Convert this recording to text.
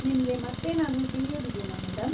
ನಿಮ್ಗೆ ಮತ್ತೇನಾದ್ರೂ ತಿಳಿಯೋದಿದೇನಾ, ಮೇಡಂ?